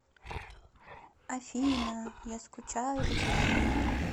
афина я скучаю по тебе